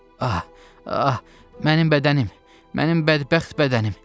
Ah, ah, mənim bədənim, mənim bədbəxt bədənim.